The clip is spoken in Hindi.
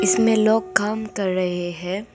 इसमें लोग काम कर रहे है।